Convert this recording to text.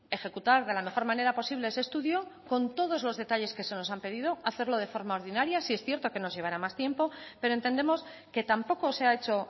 ejecutar de la mejor manera posible ese estudio con todos los detalles que se nos han pedido hacerlo de forma ordinario sí es cierto que nos llevará más tiempo pero entendemos que tampoco se ha hecho